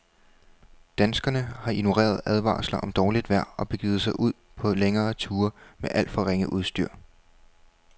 Danskerne har ignoreret advarsler om dårligt vejr og begivet sig ud på længere ture med alt for ringe udstyr.